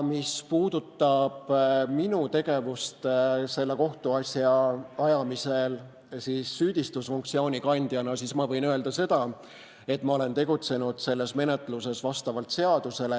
Mis puudutab minu tegevust selle kohtuasja ajamisel, siis süüdistusfunktsiooni kandjana ma võin öelda seda, et ma olen tegutsenud selles menetluses vastavalt seadusele.